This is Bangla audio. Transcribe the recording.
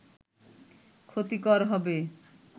ক্ষতিকর হবে